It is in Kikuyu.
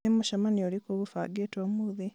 nĩ mũcemanio ũrĩkũ ũgũbangĩtwo ũmũthĩ